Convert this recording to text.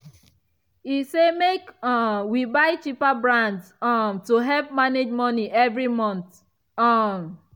e say make um we buy cheaper brands um to help manage money every month. um